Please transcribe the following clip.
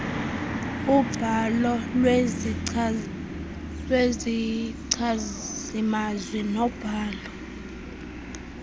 ubhalo lwezichazimazwi nobhalo